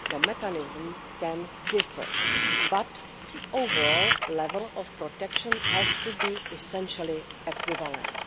the mechanism can differ, but the overall level of protection has to be essentially equivalent.